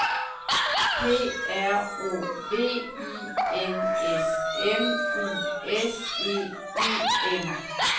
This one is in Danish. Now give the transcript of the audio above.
P R O V I N S M U S E U M